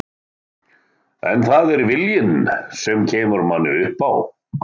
En það er viljinn sem kemur manni upp á